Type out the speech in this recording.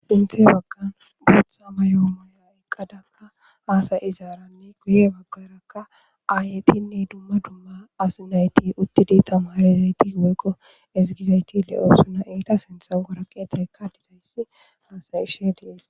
sinthe baggan guutha mayo myidia iqqadakka haasay izaaranne guye baggarakka aayetinne duma duma as nayti uttidi tamarezayti woykqo ezigizayti le7oo suna iita sintha goraqeteekka dizayssi haasay ishe dees